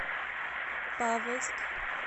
павловск